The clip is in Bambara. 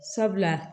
Sabula